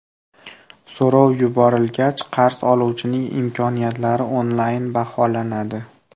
So‘rov yuborilgach, qarz oluvchining imkoniyatlari onlayn baholanadi.